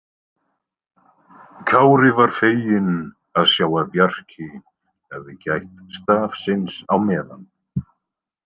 Kári var feginn að sjá að Bjarki hafði gætt stafsins á meðan.